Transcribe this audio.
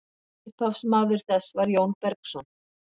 upphafsmaður þess var jón bergsson